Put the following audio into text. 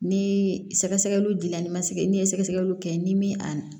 Ni sɛgɛsɛgɛliw dila ni ma se kɛ n'i ye sɛgɛsɛgɛliw kɛ ni min a